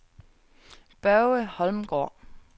Børge Holmgaard